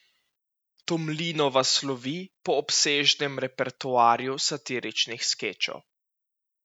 Tomlinova slovi po obsežnem repertoarju satiričnih skečev.